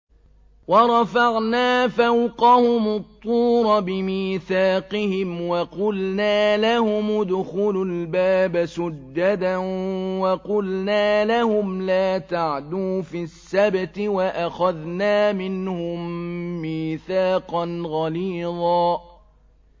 وَرَفَعْنَا فَوْقَهُمُ الطُّورَ بِمِيثَاقِهِمْ وَقُلْنَا لَهُمُ ادْخُلُوا الْبَابَ سُجَّدًا وَقُلْنَا لَهُمْ لَا تَعْدُوا فِي السَّبْتِ وَأَخَذْنَا مِنْهُم مِّيثَاقًا غَلِيظًا